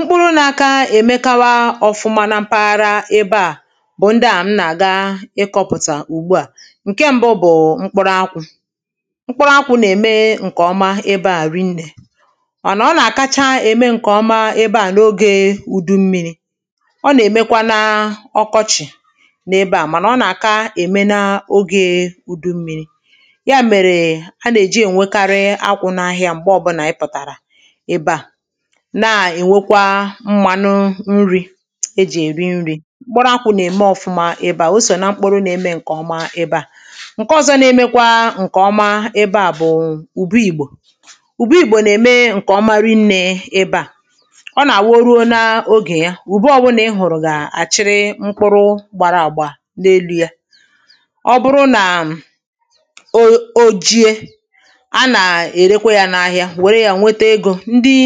mkpụrụ̇ nȧ aka èmekawa ọ̀fụma na mpaghara ebe à bụ̀ ndị à m nà-àga ịkọ̇pụ̀tà ùgbu à ǹke ṁbụ̇ bụ̀ mkpụrụ akwụ̀ mkpụrụ akwụ̇ nà-ème ǹkèọma ebe à rinnè mànà ọ nà-àkacha ème ǹkèọma ebe à na ogė ùdu mmi̇ri ọ nà-èmekwa na ọkọọchì n’ebe à mànà ọ nà-àka ème n’ogė ùdu mmi̇ri ya mèrè a nà-èji ènwekarị akwụ̇ n’ahịa m̀gbe ọbụ̇nà ịpụ̀tàrà èbe a na enwèkwa mmanụ nri̇ ejì èri nri̇ mkpuru akwụ̇ nà-ème ọ̀fụma ebe à o sò na mkpuru̇ na-eme ǹkèọma ebe à ǹke ọzọ na-emekwa ǹkèọma ebe à bụ̀ ùbu ìgbò ùbu ìgbò nà-ème ǹkè ọma rị nnė ebe à ọ nà-abu o ruo n’ogè ya ùbe ọbụnà ị hụ̀rụ̀ gà-àchịrị mkpuru̇ gbara àgba n’elu yȧ ọ bụrụ nà um o o ojie a nà-èrekwa yȧ n’ahịa wère yȧ nwete egȯ ndị